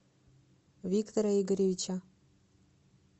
виктора игоревича